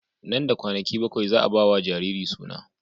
Nan da kwanaki bakwai za a ba wa jariri suna.